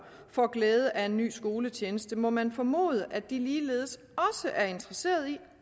får glæde af en ny skoletjeneste må man formode at de ligeledes er interesseret i